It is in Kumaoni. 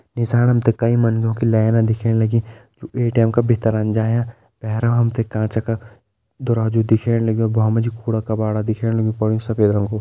निसाण हमते कई मंधो की लाइन दिख्येण लगीं एटीएम का भित्तर हम जायां बहर हमते कांच का दरवाजु दिख्येण लगयूं वामा जी कूड़ा-कबाड़ा दिख्येण लगयूं पड्यूं सफ़ेद रंग कु।